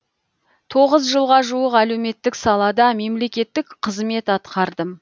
тоғыз жылға жуық әлеуметтік салада мемлекеттік қызмет атқардым